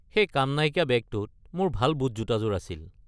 সেই কাম নাইকিয়া বেগটোত মোৰ ভাল বুটজোতাযোৰ আছিল।